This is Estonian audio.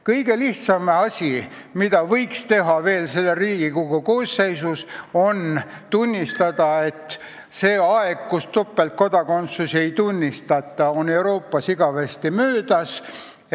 Kõige lihtsam asi, mida võiks teha veel selles Riigikogu koosseisus, on tunnistada, et see aeg, kus topeltkodakondsust ei tunnistata, on Euroopas igavesti möödas.